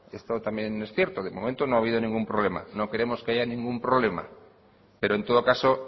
esto también es cierto de momento no ha habido ninguna problema no queremos que haya ningún problema pero en todo caso